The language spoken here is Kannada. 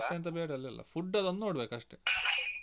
ಜಾಸ್ತಿ ಎಂತ ಬೇಡ ಅಲ್ಲೆಲ್ಲ food ಲೊಂದ್ ನೋಡ್ಬೇಕಷ್ಟೆ